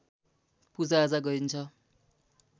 पुजाआजा गरिन्छ